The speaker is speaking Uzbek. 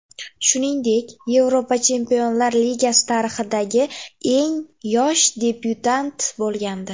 Shuningdek, Yevropa Chempionlar Ligasi tarixidagi eng yosh debyutant bo‘lgandi .